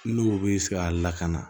N'o bɛ se ka lakana